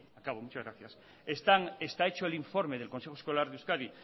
acabo muchas gracias está hecho el informe del consejo escolar de euskadi